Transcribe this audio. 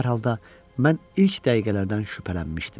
Hər halda, mən ilk dəqiqələrdən şübhələnmişdim.